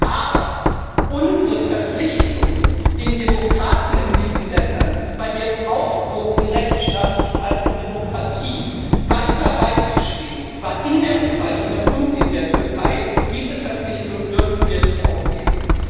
Aber unsere Verpflichtungen, den Demokraten in diesen Ländern bei ihrem Aufbruch zu Rechtsstaatlichkeit und Demokratie weiter beizustehen, und zwar in der Ukraine und in der Türkei, diese Verpflichtung dürfen wir nicht aufgeben.